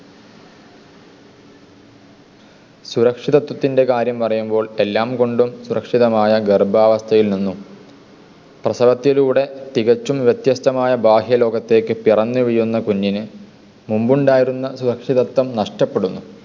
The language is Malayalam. സുരക്ഷിതത്വത്തിൻ്റെ കാര്യം പറയുമ്പോൾ എല്ലാം കൊണ്ടും സുരക്ഷിതമായ ഗർഭാവസ്ഥയിൽ നിന്നും പ്രസവത്തിലൂടെ തികച്ചും വ്യത്യസ്തമായ ബാഹ്യലോകത്തേക്ക് പിറന്നു വീഴുന്ന കുഞ്ഞിന് മുൻപുണ്ടായിരുന്ന സുരക്ഷിതത്തം നഷ്ടപ്പെടുന്നു.